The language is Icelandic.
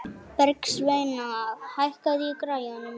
Bergsveina, hækkaðu í græjunum.